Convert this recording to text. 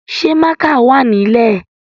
Ṣé mákà wà nílè?